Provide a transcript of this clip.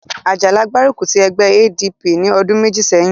Àjàlá gbárùkù ti ẹgbẹ́ ADP ní ọdún méjì sẹ́yìn